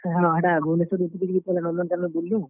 ହଁ, ଭୁବନେଶ୍ୱରରୁ ଉତ୍ ରି କରି ହେଟା ପହେଲା ନନ୍ଦନକାନନ୍ ବୁଲ୍ ଲୁଁ।